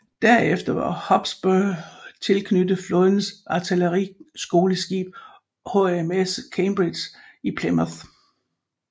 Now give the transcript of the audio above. Derefter var Hotspur tilknyttet flådens artilleriskoleskib HMS Cambridge i Plymouth